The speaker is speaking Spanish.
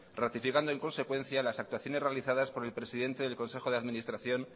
ratificando en consecuencia las actuaciones realizadas por el presidente del consejo de administración